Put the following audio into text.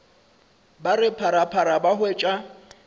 ba re phaphara ba hwetša